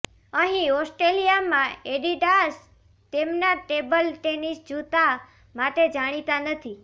અહીં ઓસ્ટ્રેલિયામાં એડિડાસ તેમના ટેબલ ટેનિસ જૂતા માટે જાણીતા નથી